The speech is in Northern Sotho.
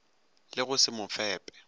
le go se mo fepe